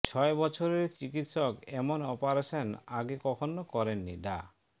ছয় বছরের চিকিৎসক এমন অপারেশন আগে কখনও করেননি ডা